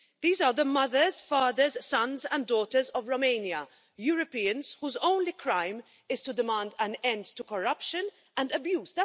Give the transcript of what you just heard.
These are the mothers, fathers, sons and daughters of Romania, Europeans whose only crime is to demand an end to corruption and abuse.